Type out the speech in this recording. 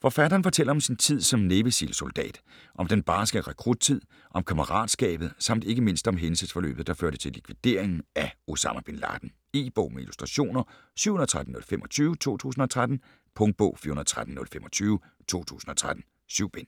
Forfatteren fortæller om sin tid som Navy Seal soldat. Om den barske rekruttid, om kammeratskabet samt ikke mindst om hændelsesforløbet der førte til likvideringen af Osama bin Laden. E-bog med illustrationer 713025 2013. Punktbog 413025 2013. 7 bind.